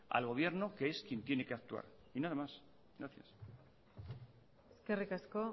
al gobierno que es quien tiene que actuar y nada más gracias eskerrik asko